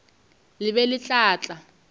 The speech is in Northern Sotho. le be le tla tlala